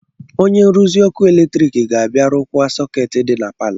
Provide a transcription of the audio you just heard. Onye nruzi ọkụ eletrik ga-abịa rụkwaa sọkeetị dị na palọ.